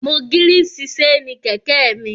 Mo gírìsì séènì kẹ̀kẹ́ mi